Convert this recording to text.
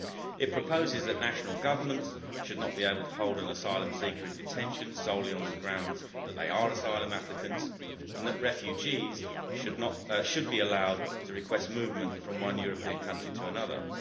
It proposes that national governments should not be able to hold an asylum seeker in detention solely on the grounds that they are asylum applicants, and that refugees should be allowed to request movement from one European country to another.